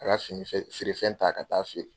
A ka fini fe feere fɛn ta ka taa feere.